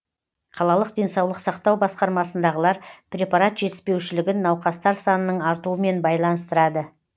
қалалық денсаулық сақтау басқармасындағылар препарат жетіспеушілігін науқастар санының артуымен байланыстырады